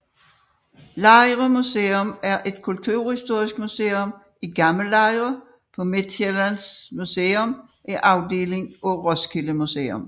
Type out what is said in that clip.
Lejre Museum er et kulturhistorisk museum i Gammel Lejre på Midtsjælland Museet er afdeling af Roskilde Museum